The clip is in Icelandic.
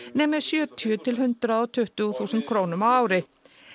nemi sjötíu til hundrað og tuttugu þúsund krónum á ári